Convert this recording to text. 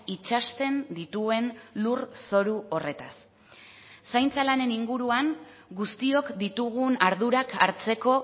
itsasten dituen lur zoru horretaz zaintza lanen inguruan guztiok ditugun ardurak hartzeko